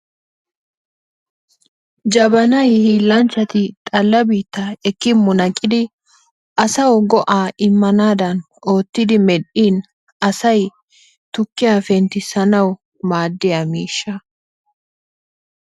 Jabbanay hiillanchchati xalla biittaa ekki munaqidi asau go'aa immanaadan oottidi medhdhin asay tukkiya penttissanawu maadiya miishshaa.